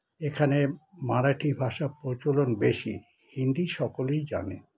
এখানে মারাঠী ভাষা প্রচলন বেশি হিন্দি সকলেই জানে